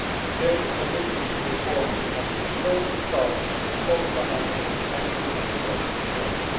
Their commitment to reform has shown results at both financial and human resources level.